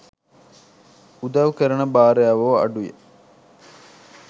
උදව් කරන භාර්යාවෝ අඩුයි.